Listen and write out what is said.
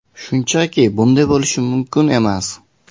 Shunchaki bunday bo‘lishi mumkin emas.